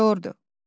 Meteordur.